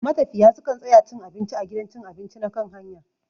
Matafiya su kan tsaya cin abinci a gidan cin abinci na kan hanya.